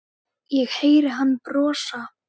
Ég heyri hann brosa.